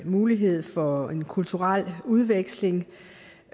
mulighed for en kulturel udveksling